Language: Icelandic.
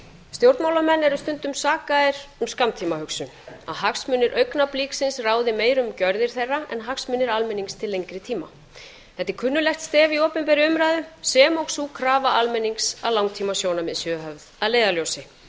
stjórnmálamenn eru stundum sakaðir um skammtímahugsun að hagsmunir augnabliksins ráði meira um gjörðir þeirra en hagsmunir almennings til lengri tíma þetta er kunnugt stef í opinberri umræðu sem og sú krafa almennings að langtímasjónarmið séu höfð að leiðarljósi